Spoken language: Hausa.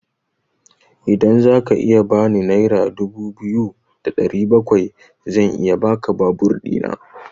Idan zaka iya bani naira dubu biyu da ɗari bakwai zan iya baka babur ɗina.